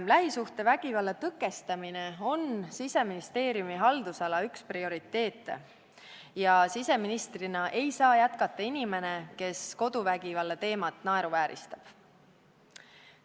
Lähisuhtevägivalla tõkestamine on Siseministeeriumi haldusala üks prioriteete ja siseministrina ei saa jätkata inimene, kes koduvägivallateemat naeruvääristab.